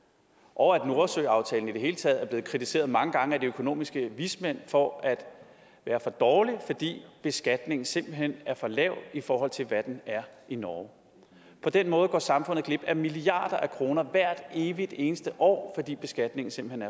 og at nordsøenaftalen i det hele taget er blevet kritiseret mange gange af de økonomiske vismænd for at være for dårlig fordi beskatningen simpelt hen er for lav i forhold til hvad den er i norge på den måde går samfundet glip af milliarder af kroner hvert evig eneste år fordi beskatningen simpelt